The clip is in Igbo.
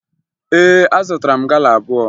Ee, azụtara m gala abụọ